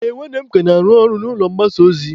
Ee, nwanne m ka na-arụ ọrụ n'ụlọ mgbasa ozi.